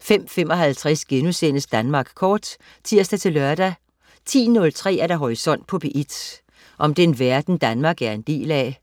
05.55 Danmark Kort* (tirs-lør) 10.03 Horisont på P1. Om den verden Danmark er en del af.